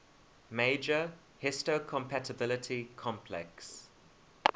major histocompatibility complex